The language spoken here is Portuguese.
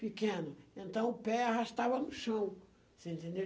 pequeno, então o pé arrastava no chão, você entendeu?